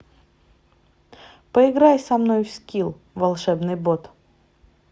поиграй со мной в скил волшебный бот